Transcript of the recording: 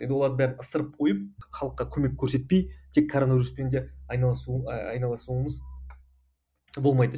енді олардың бәрін ысырып қойып халыққа көмек көрсетпей тек короновируспен де айналысу ы айналысуымыз болмайды